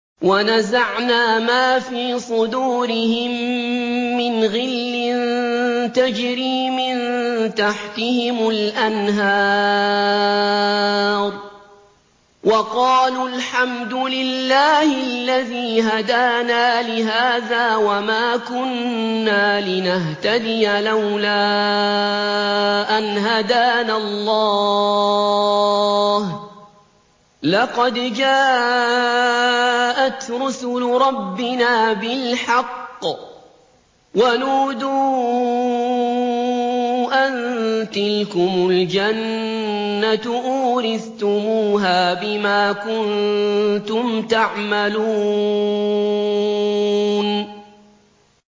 وَنَزَعْنَا مَا فِي صُدُورِهِم مِّنْ غِلٍّ تَجْرِي مِن تَحْتِهِمُ الْأَنْهَارُ ۖ وَقَالُوا الْحَمْدُ لِلَّهِ الَّذِي هَدَانَا لِهَٰذَا وَمَا كُنَّا لِنَهْتَدِيَ لَوْلَا أَنْ هَدَانَا اللَّهُ ۖ لَقَدْ جَاءَتْ رُسُلُ رَبِّنَا بِالْحَقِّ ۖ وَنُودُوا أَن تِلْكُمُ الْجَنَّةُ أُورِثْتُمُوهَا بِمَا كُنتُمْ تَعْمَلُونَ